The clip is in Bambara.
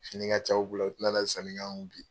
Fini ka ca u bolo u tɛ nana sanni k'an kun bi.